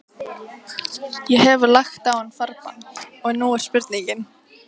Ég hef lagt á hann farbann, og nú er spurningin.